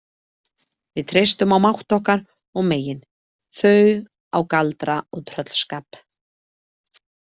Við treystum á mátt okkar og megin, þau á galdra og tröllskap.